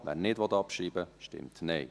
wer ihn nicht abschreiben will, stimmt Nein.